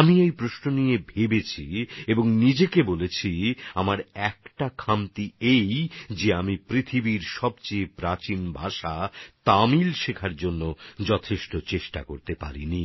আমি এই প্রশ্ন নিয়ে অনেক ভেবেছি তারপর নিজেকে বলেছি যে আমার একটা বিষয়ের অভাব রয়েছে আমি বিশ্বের সবচেয়ে প্রাচীন ভাষা তামিল শেখার জন্য যথেষ্ট চেষ্টা করতে পারিনি